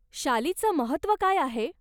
शालीचं महत्व काय आहे?